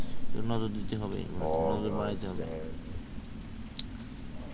নজর দিতে হবে মানে নজর বাড়াইতে হবে